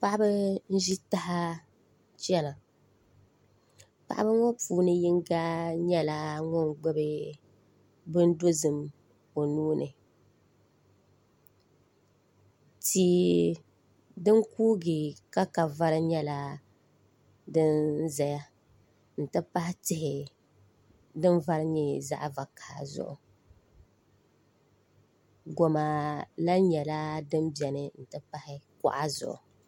Paɣiba n zi taha chɛna paɣiba ŋɔ yino yiɛla ŋun gbubi bini dozim o nuu ni tii dini kuugi ka ka vari yɛla din ziya n ti pahi tihi din vari yɛ zaɣi vakaha zuɣu goma lahi nyɛla din bɛni n ti pahi kuɣa.